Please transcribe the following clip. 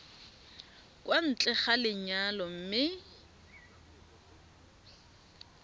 kwa ntle ga lenyalo mme